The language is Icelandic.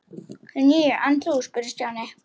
Níu, en þú? spurði Stjáni.